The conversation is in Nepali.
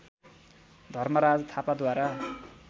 धर्मराज थापाद्वारा